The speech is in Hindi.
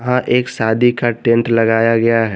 हां एक शादी का टेंट लगाया गया है।